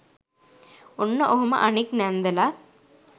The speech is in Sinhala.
ඔන්න ඔහොම අනික් නැන්දලත්